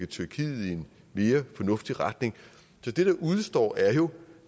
tyrkiet i en mere fornuftig retning så det der udestår er jo